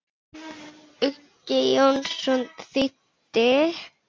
Uggi Jónsson þýddi.